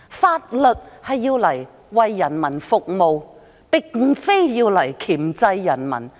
法律是用來為人民服務，並非箝制人民。